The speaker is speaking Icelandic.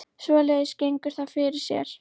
Svoleiðis gengur það fyrir sig